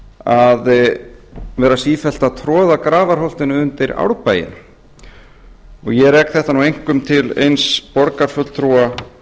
að vera sífellt að troða grafarholtinu undir árbæinn ég rek þetta nú einkum til eins borgarfulltrúa